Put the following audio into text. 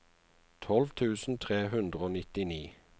tolv tusen tre hundre og nittini